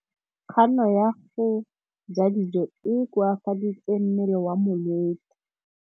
Kganô ya go ja dijo e koafaditse mmele wa molwetse.